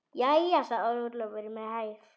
Jæja, sagði Ólafur með hægð.